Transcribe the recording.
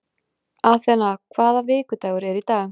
Athena, hvaða vikudagur er í dag?